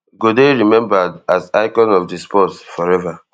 [e] go dey remembered as icon of di sport forever